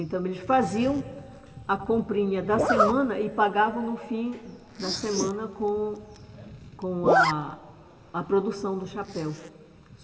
Então, eles faziam a comprinha da semana e pagavam no fim da semana com com a a produção do chapéu.